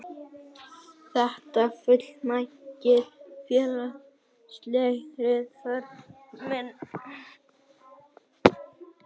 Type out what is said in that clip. Þetta fullnægir félagslegri þörf minni.